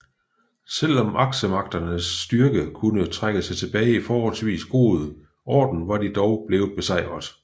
Selv om aksemagternes styrke kunne trække sig tilbage i forholdsvis god orden var de dog blevet besejret